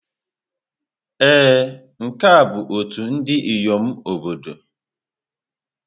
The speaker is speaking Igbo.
Ee, nke a bụ ọtú ndị inyom obodo.